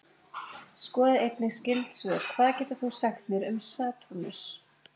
Skoðið einnig skyld svör: Hvað getur þú sagt mér um Satúrnus?